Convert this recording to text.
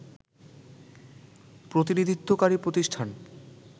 প্রতিনিধিত্বকারী প্রতিষ্ঠান